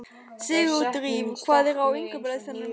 Sigurdríf, hvað er á innkaupalistanum mínum?